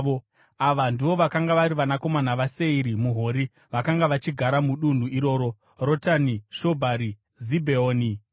Ava ndivo vakanga vari vanakomana vaSeiri muHori, vakanga vachigara mudunhu iroro: Rotani, Shobhari, Zibheoni, Ana,